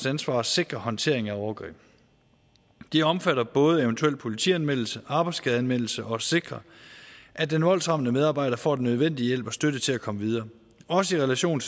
ansvar at sikre håndtering af overgreb det omfatter både eventuel politianmeldelse arbejdsskadeanmeldelse og sikrer at den voldsramte medarbejder får den nødvendige hjælp og støtte til at komme videre også i relation